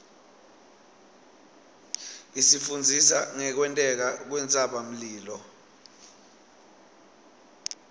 isifundzisa ngekwenteka kwentsabamlilo